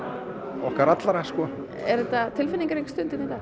okkar allra sko er þetta tilfinningarík stund hérna